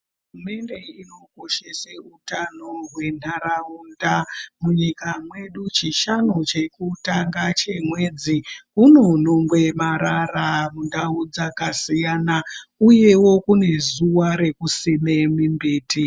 Hurumende inokoshese hutano hwentaraunda. Munyika medu chishanu chekutanga chemwedzi unonhongwe marara muntawo dzakasiyana uyewo kunezuwa rekusime mimbiti.